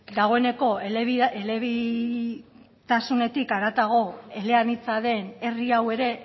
dagoeneko elebitasunetik haratago eleanitza den herri hau ere